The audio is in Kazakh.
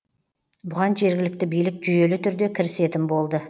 бұған жергілікті билік жүйелі түрде кірісетін болды